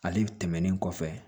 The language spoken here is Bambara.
Ale tɛmɛnen kɔfɛ